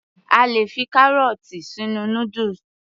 A lè fi kárọ̀ọ̀tì sínú noodles